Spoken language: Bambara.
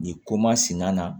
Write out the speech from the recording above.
Nin ko masina na